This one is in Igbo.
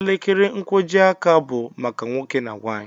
Elekere nkwọjiaka bụ maka nwoke na nwaanyị.